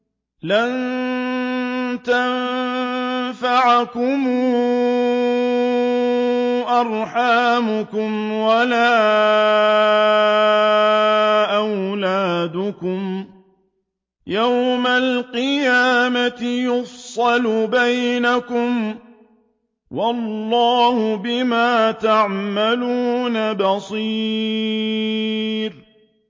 لَن تَنفَعَكُمْ أَرْحَامُكُمْ وَلَا أَوْلَادُكُمْ ۚ يَوْمَ الْقِيَامَةِ يَفْصِلُ بَيْنَكُمْ ۚ وَاللَّهُ بِمَا تَعْمَلُونَ بَصِيرٌ